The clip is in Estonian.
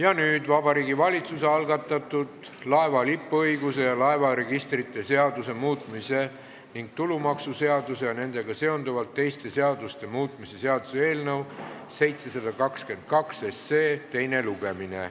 Alustame Vabariigi Valitsuse algatatud laeva lipuõiguse ja laevaregistrite seaduse muutmise ning tulumaksuseaduse ja nendega seonduvalt teiste seaduste muutmise seaduse eelnõu 772 teist lugemist.